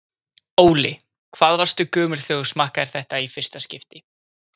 Óli: Hvað varstu gömul þegar þú smakkaðir þetta í fyrsta skipti?